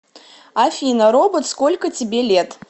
афина робот сколько тебе лет